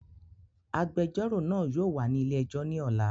Agbẹjọ́rò náà yóò wà ní ilé ẹjọ́ ní ọ̀la